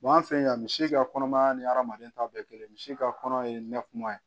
an fɛ yan misi ka kɔnɔmaya ni hadamaden ta bɛɛ kelen misi ka kɔnɔ ye nɛkuma ye